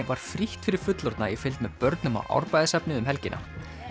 var frítt fyrir fullorðna í fylgd með börnum í Árbæjarsafnið um helgina